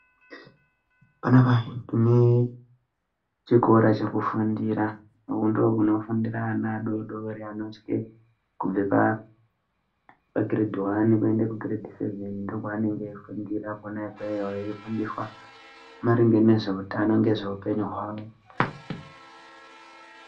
Panapa tine chikora chekufundira, umwu ndomunofundira ana adodori anosvike kubve pagiredhi hwani kuende kugiredhi sevheni ndokwavanenge veifundira kwona ikweyo, veifundiswa maringe nezveutano, ngezveupenyu hwavo.